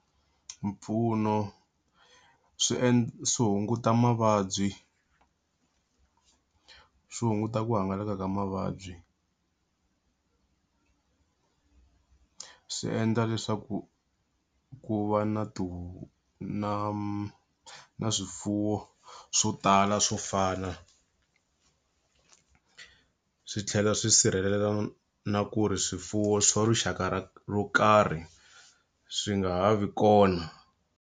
Mpfuno swi swi hunguta mavabyi swi hunguta ku hangalaka ka mavabyi swi endla leswaku ku va na na na swifuwo swo tala swo fana. Swi tlhela swi sirhelela na ku ri swifuwo swo rixaka ro karhi swi nga ha vi kona.